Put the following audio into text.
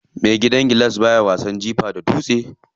Mai gidan gilas baya wasan jifa da dutse.